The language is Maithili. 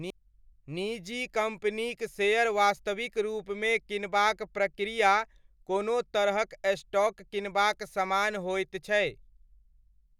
निजी कम्पनीक शेयर वास्तविक रूपमे किनबाक प्रक्रिया कोनो तरहक स्टॉक किनबाक समान होइत छै।